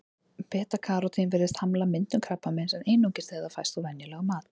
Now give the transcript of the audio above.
Beta-karótín virðist hamla myndun krabbameins, en einungis þegar það fæst úr venjulegum mat.